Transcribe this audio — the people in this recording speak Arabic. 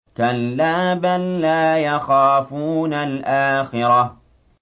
كَلَّا ۖ بَل لَّا يَخَافُونَ الْآخِرَةَ